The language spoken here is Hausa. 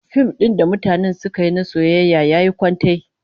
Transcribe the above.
Fim din da mutanen suka yi na soyayya yayi kwantai